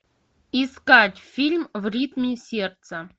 искать фильм в ритме сердца